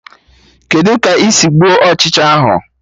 Kedụ ka ị sị gbuo Ụchịcha ahụ?